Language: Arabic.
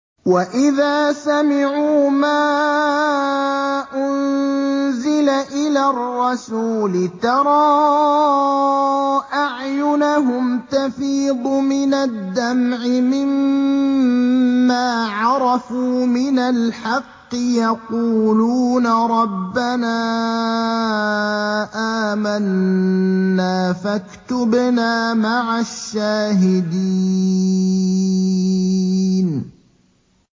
وَإِذَا سَمِعُوا مَا أُنزِلَ إِلَى الرَّسُولِ تَرَىٰ أَعْيُنَهُمْ تَفِيضُ مِنَ الدَّمْعِ مِمَّا عَرَفُوا مِنَ الْحَقِّ ۖ يَقُولُونَ رَبَّنَا آمَنَّا فَاكْتُبْنَا مَعَ الشَّاهِدِينَ